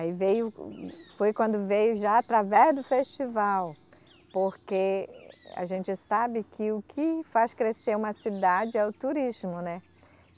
Aí veio, foi quando veio já através do festival, porque a gente sabe que o que faz crescer uma cidade é o turismo, né?